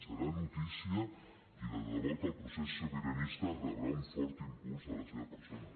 serà notícia i de debò que el procés sobiranista rebrà un fort impuls de la seva persona